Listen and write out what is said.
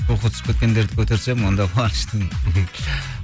духы түсіп кеткендерді көтерсем онда қуаныштымын